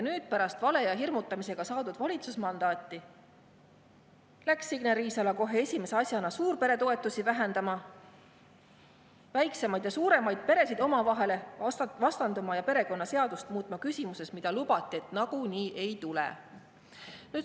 Nüüd, pärast vale ja hirmutamisega saadud valitsusmandaati läks Signe Riisalo kohe esimese asjana suurperetoetusi vähendama, väiksemaid ja suuremaid peresid omavahel vastandama ja perekonnaseadust muutma küsimuses, mille kohta oli lubatud, et nagunii ei tule.